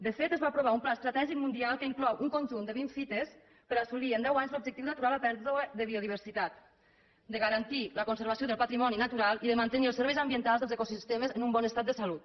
de fet es va aprovar un pla estratègic mundial que inclou un conjunt de vint fites per assolir en deu anys l’objectiu d’aturar la pèrdua de biodiversitat de garantir la conservació del patrimoni natural i de mantenir els serveis ambientals dels ecosistemes en un bon estat de salut